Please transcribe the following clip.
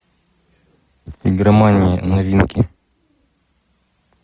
игромания новинки